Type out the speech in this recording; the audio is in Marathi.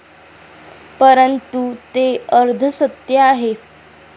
परंतु, ते अर्धसत्य आहे.